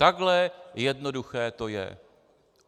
Takhle jednoduché to je.